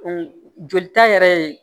jolita yɛrɛ ye